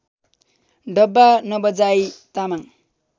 Damba Nabajai Tamang